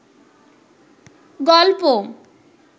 গল্প